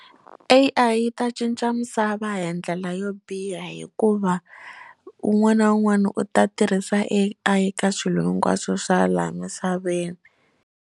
A_I yi ta cinca misava hi ndlela yo biha hikuva un'wana na un'wana u ta tirhisa A_I eka swilo hinkwaswo swa laha misaveni.